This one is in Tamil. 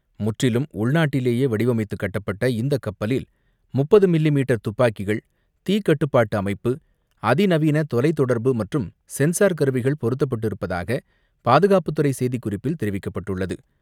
முற்றிலும் உள்நாட்டிலேயே வடிவமைத்து கட்டப்பட் இந்தக் கப்பலில் முப்பது மில்லி மீட்டர் துப்பாக்கிகள், தீ கட்டுப்பாட்டு அமைப்பு, அதி நவீன தொலைத் தொடர்பு மற்றும் சென்சார் கருவிகள் பொருத்தப்பட்டிருப்பதாக பாதுகாப்புத்துறை செய்திக்குறிப்பில் தெரிவிக்கப்பட்டுள்ளது.